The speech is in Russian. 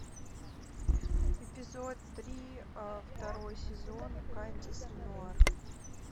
эпизод три второй сезон кандис ренуар